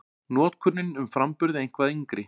Notkunin um framburð er eitthvað yngri.